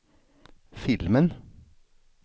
filmen